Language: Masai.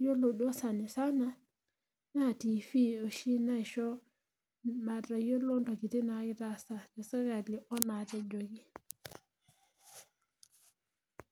iyiolo duo sanisana. Naa tifii oshi naisho mayiolo ntokitin naagirae aasa te sirkali onaatejoki.